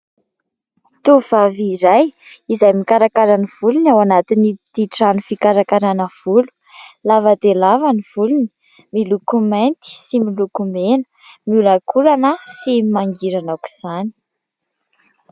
Tovovavy iray izay mikarakara ny volony ao anatin'ity trano fikarakarana volo. Lava dia lava ny volony, miloko mainty sy miloko mena. Miolankolana sy mangirana aok'izany.